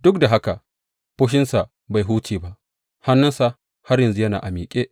Duk da haka, fushinsa bai huce ba, hannunsa har yanzu yana a miƙe.